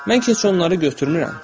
Mən ki, heç onları götürmürəm.